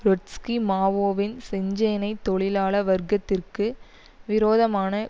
Trotsky மாவோவின் செஞ்சேனை தொழிலாள வர்க்கத்திற்கு விரோதமான